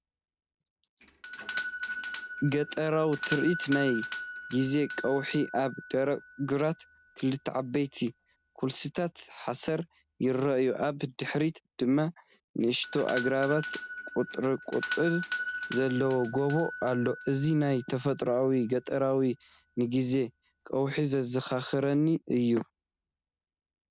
ገጠራዊ ትርኢት ናይ ግዜ ቀውዒ፣ ኣብ ደረቕ ግራት ክልተ ዓበይቲ ኩልስስቲ ሓሰር ይረኣዩ። ኣብ ድሕሪት ድማ ንኣሽቱ ኣግራብን ቁጥቋጥን ዘለዎ ጎቦ ኣሎ። እዚ ናይ ተፈጥሮኣዊ፡ ገጠራዊን ንጊዜ ቀውዒ ዘዘኻኽረኒ እዩ